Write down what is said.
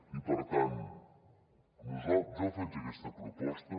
i per tant jo faig aquesta proposta